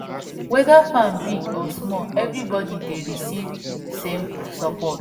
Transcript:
weda farm big or small everybody dey receive same support